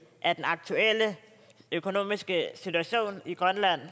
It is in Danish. af den aktuelle økonomiske situation i grønland